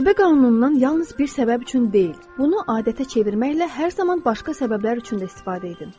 Cazibə qanunundan yalnız bir səbəb üçün deyil, bunu adətə çevirməklə hər zaman başqa səbəblər üçün də istifadə edin.